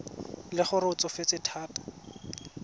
le gore o tsofetse thata